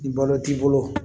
Ni balo t'i bolo